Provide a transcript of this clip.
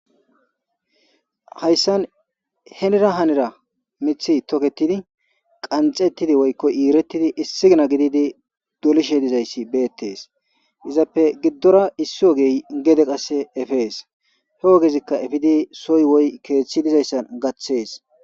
Haysan hinnira hinnira mithay toketidi, qantstsetidi woyko iirettidi issikkena gididi dole’ishe dizayi betees. Izappe giddora issu ogeyi efees. He ogezikka efidi soyi woy keetsi de’izaddan gattees.